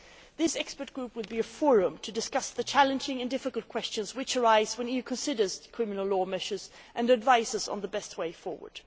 This expert group will be a forum to discuss the challenging and difficult questions which arise when the EU considers criminal law measures and advises on the best way forward.